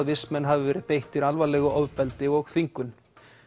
vistmenn hafi verið beittir alvarlegu ofbeldi og þvingun